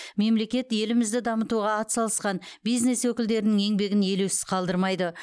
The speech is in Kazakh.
мемлекет елімізді дамытуға атсалысқан бизнес өкілдерінің еңбегін елеусіз қалдырмайды